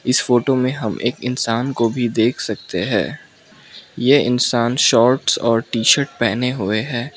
इस फोटो में हम एक इंसान को भी देख सकते है ये इंसान शॉर्ट्स और टी शर्ट पहने हुए है।